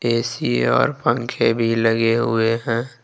AC और पंखे भी लगे हुए हैं।